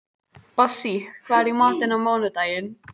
Bassí, hvað er í matinn á mánudaginn?